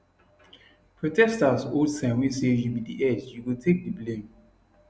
protesters hold sign wey say you be di head you go take di blame